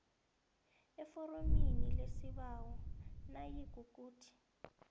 eforomini lesibawo nayikuthi